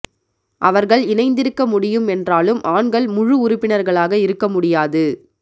அவர்கள் இணைந்திருக்க முடியும் என்றாலும் ஆண்கள் முழு உறுப்பினர்களாக இருக்க முடியாது